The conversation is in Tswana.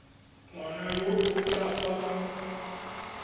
ngwana yo o ka fa